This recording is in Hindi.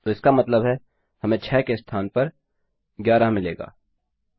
तो इसका मतलब है कि हमें 6 के स्थान पर 11 मिलेगा